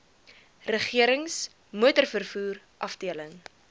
regerings motorvervoer afdeling